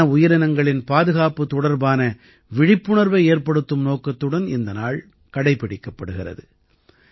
வன உயிரினங்களின் பாதுகாப்பு தொடர்பான விழிப்புணர்வை ஏற்படுத்தும் நோக்கத்துடன் இந்த நாள் கடைப்பிடிக்கப்படுகிறது